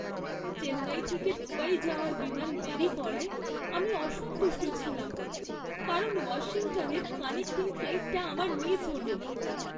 চেন্নাই থেকে দুবাই যাওয়ার বিমান দেরি করায় আমি অসন্তুষ্ট ছিলাম কারণ ওয়াশিংটনের কানেক্টিং ফ্লাইটটা আমার মিস হল।